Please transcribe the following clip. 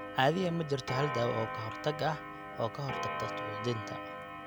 Caadiyan ma jirto hal dawo oo ka hortag ah oo ka hortagta suuxdinta.